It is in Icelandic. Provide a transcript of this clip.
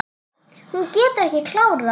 Hún getur ekki klárað.